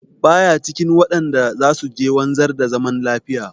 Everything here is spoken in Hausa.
Ba ya cikin waɗanda za su je wanzar da zaman lafiya.